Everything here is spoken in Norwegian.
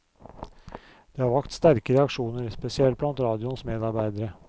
Det har vakt sterke reaksjoner, spesielt blant radioens medarbeidere.